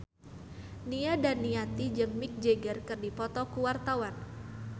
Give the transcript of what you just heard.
Nia Daniati jeung Mick Jagger keur dipoto ku wartawan